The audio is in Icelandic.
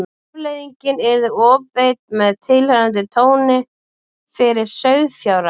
Afleiðingin yrði ofbeit með tilheyrandi tjóni fyrir sauðfjárrækt.